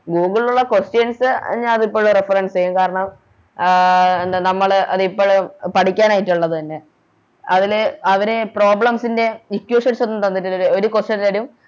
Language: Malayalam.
Google ലൊള്ള Questions ഞാൻ അതിപ്പഴും Reference ചെയ്യും കാരണം അഹ് എന്താ നമ്മള് ഇപ്പളും പഠിക്കാനായിട്ടോള്ളത് തന്നെ അതില് അവര് Problems ൻറെ Equations ഒന്നും തന്നിട്ടില്ല ഒരു Question തരും